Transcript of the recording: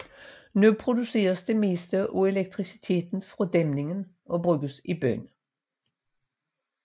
Nu produceres det meste af elektriciteten fra dæmningen og bruges i byen